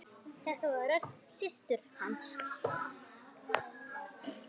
Þetta var rödd systur hans.